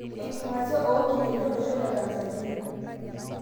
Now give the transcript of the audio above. Enkingasia o nkineji olosho le Tanzania.